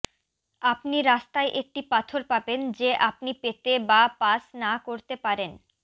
আপনি রাস্তায় একটি পাথর পাবেন যে আপনি পেতে বা পাস না করতে পারেন